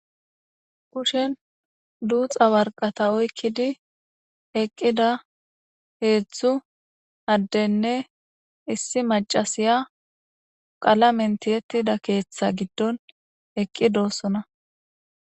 kushen duuxa warqata oykkidi eqqida heedzdzu addenne issi macasiya qala mentiyettida keeththa giddon eqqidossona